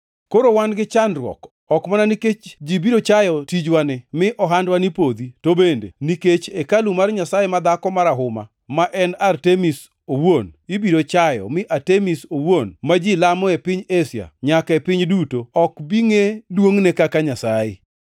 Koro wan gi chandruok, ok mana nikech ji biro chayo tijwani mi ohandwani podhi, to bende nikech hekalu mar nyasaye madhako marahuma, ma en Artemis owuon, ibiro chayo, mi Artemis owuon, ma ji lamo e piny Asia, nyaka e piny duto, ok bi ngʼe duongʼne kaka nyasaye!”